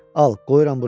Al, qoyuram bura.